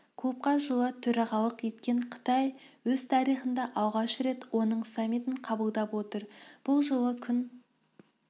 клубқа жылы төрағалық еткен қытай өз тарихында алғаш рет оның саммитін қабылдап отыр бұл жолы күн